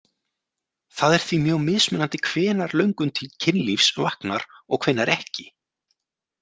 Það er því mjög mismunandi hvenær löngun til kynlífs vaknar og hvenær ekki.